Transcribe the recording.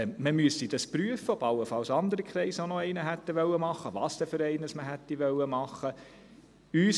Man müsste prüfen, ob allenfalls andere Kreise auch noch einen solchen hätten machen wollen und welcher Art dieser gewesen wäre.